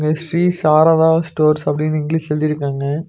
Sri Sharada stores அப்படினு இங்கிலீஷ்ல எழுதிருக்காங்க.